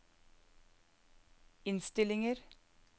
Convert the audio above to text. innstillinger